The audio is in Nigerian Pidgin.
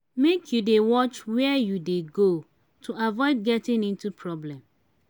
make you dey watch wehre you dey go to avoid getting into problem.